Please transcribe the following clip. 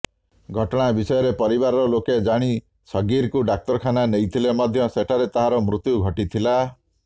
ଘଟଣା ବିଷୟରେ ପରିବାର ଲୋକେ ଜାଣି ସଗ୍ଗୀରକୁ ଡାକ୍ତରଖାନା ନେଇଥିଲେ ମଧ୍ୟ ସେଠାରେ ତାହାର ମୃତ୍ୟୁ ଘଟିଥିଲା